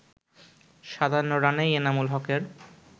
৫৭ রানেই এনামুল হকের